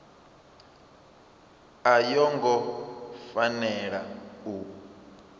a yo ngo fanela u